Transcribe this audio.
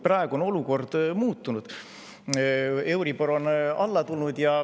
Praegu on olukord muutunud: euribor on alla tulnud.